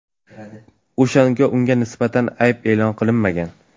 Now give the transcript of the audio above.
o‘shanda unga nisbatan ayb e’lon qilinmagan.